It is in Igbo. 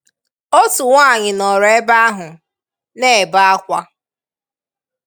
Otu nwaanyị nọ̀rọ̀ ebe ahụ, n’ebe ákwá.